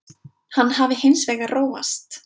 Hann hafi hins vegar róast